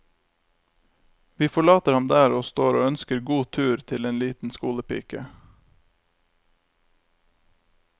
Vi forlater ham der han står og ønsker god tur til en liten skolepike.